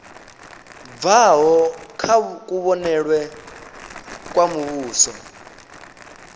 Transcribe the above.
bvaho kha kuvhonele kwa muvhuso